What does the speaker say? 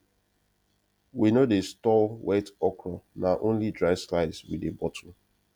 we no dey store wet okra na only dry slice we dey bottle